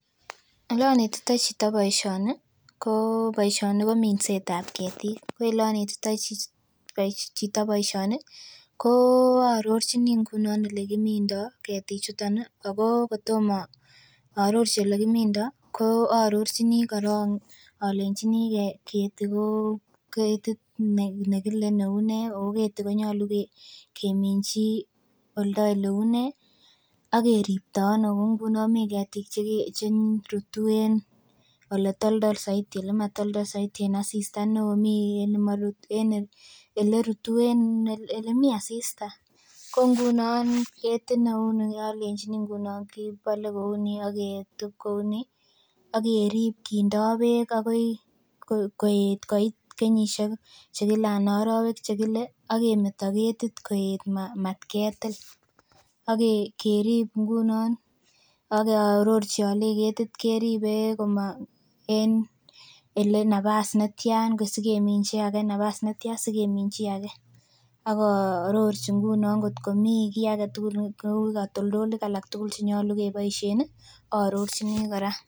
Olonetitoi chito boisioni ko boisioni ko minset ab ketik ko elonetitoi chito boisioni ko aarorchin ngunon elekimindoo ketik chuton ih ako kotomo aarorchi elekimindoo ko aarorchini korong olenjini keti ko ketit nekile neuu nee ako keti konyolu keminji oldo eleuu nee ak keripto ano kou ngunon mii ketik cheke cherutu en oletoltol soiti olematoltol soiti en asista neoo mii en nemorutu en elerutu elemii asista ko ngunon ketit neu ni olenjin ngunon kibole kouni aketup kouni akerip kindoo beek akerib kindoo beek akoi koet koit kenyisiek chekile anan arowek chekile akemeto ketit koet matketil akerip ngunon ak aarorchi alei ketit keribe en ele nafas netyan sikeminji age nafas netyan sikeminji age ak aarorchi ngunon ngot komii kiy aketugul neuu katoltolik alak tugul chenyolu keboisien ih aarorchini kora